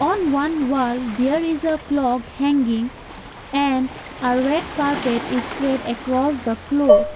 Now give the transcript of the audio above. on one wall there is a clock hanging and a red carpet is across the floor.